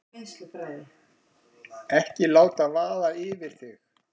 Ekki láta vaða yfir þig.